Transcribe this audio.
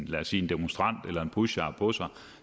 lad os sige en demonstrant eller en pusher har på sig og